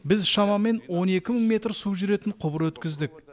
біз шамамен он екі мың метр су жүретін құбыр өткіздік